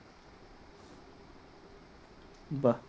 বাহ